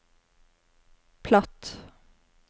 platt